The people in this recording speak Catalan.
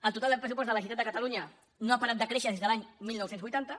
el total del pressupost de la generalitat de catalunya no ha parat de créixer des de l’any dinou vuitanta